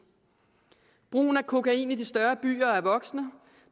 brugen af kokain i de større byer er voksende og